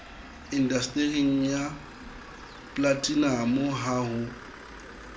indastering ya polatinamo ha ho